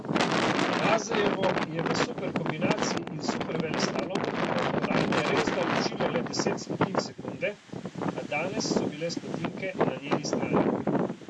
Mazejevo je v superkombinaciji in superveleslalomu od kolajne resda ločilo le deset stotink sekunde, a danes so bile stotinke na njeni strani.